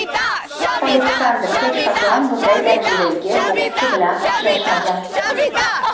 Oleksandr hech qachon bunday darajadagi bokschi bilan uchrashmagan.